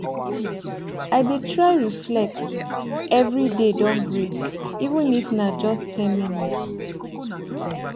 i dey try reflect every day don break even if na just ten minutes